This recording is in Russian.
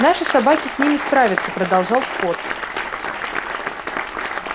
наши собаки с ними справятся продолжал скотт